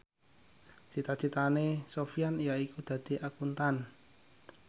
cita citane Sofyan yaiku dadi Akuntan